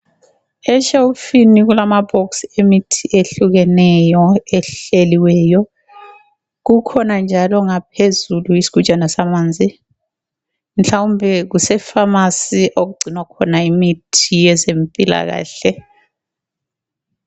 Eshelufuni kulama bhokisi emithi ehlukeneyo ehleliweyo. Kukhona njalo ngaphezulu isigujane samanzi ,mhlawumbe kuse pharmacy okugcinwa khona imithi yezempilakahle.